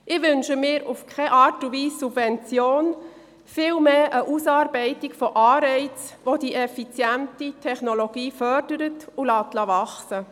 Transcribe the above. Ich wünsche mir in keiner Art und Weise Subventionen, sondern vielmehr die Ausarbeitung von Anreizen, welche die effiziente Technologie fördern und wachsen lassen.